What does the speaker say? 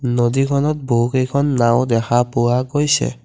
নদীখনত বহুকেইখন নাও দেখা পোৱা গৈছে।